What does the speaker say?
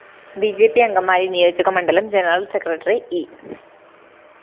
B J P Angamaly നിയോജക മണ്ഡലം general secretary E